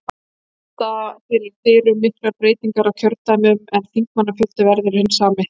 Nú standa fyrir dyrum miklar breytingar á kjördæmum en þingmannafjöldi verður hinn sami.